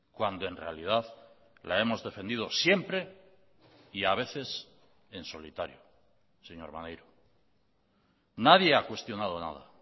cuando en realidad la hemos defendido siempre y a veces en solitario señor maneiro nadie ha cuestionado nada